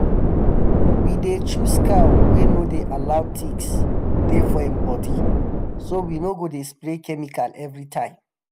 we dey choose cow wey no dey allow ticks deh for em body so we no go dey spray chemical every time.